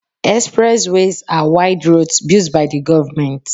Express ways are wide roads built by the government